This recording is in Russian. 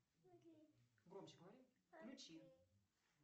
громче говори включи